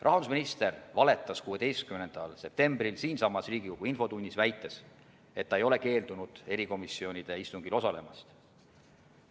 Rahandusminister valetas 16. septembril siinsamas Riigikogu infotunnis, väites, et ta ei ole keeldunud erikomisjonide istungil osalemast.